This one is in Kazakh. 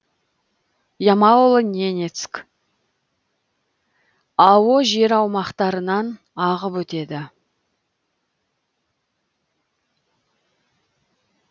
ямало ненецк ао жер аумақтарынан ағып өтеді